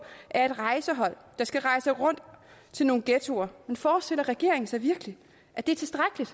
er et rejsehold der skal rejse rundt til nogle ghettoer men forestiller regeringen sig virkelig at det er tilstrækkeligt